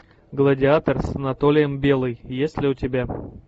гладиатор с анатолием белый есть ли у тебя